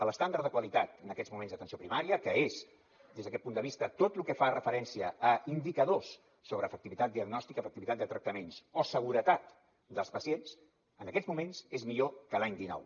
l’estàndard de qualitat en aquests moments d’atenció primària que és des d’aquest punt de vista tot lo que fa referència a indicadors sobre efectivitat diagnòstica efectivitat de tractaments o seguretat dels pacients en aquests moments és millor que l’any dinou